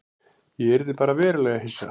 Ég yrði bara verulega hissa.